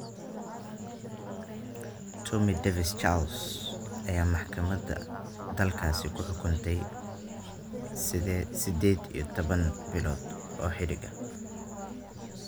Tammy Davis-Charles ayay maxkamada dalkaasi ku xukuntay sideed iyo tobaan bilood oo xadhig ah.